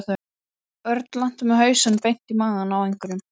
Örn lenti með hausinn beint í magann á einhverjum.